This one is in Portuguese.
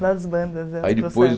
Das bandas é dos.